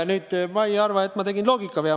Ma ei arva, et ma tegin loogikavea.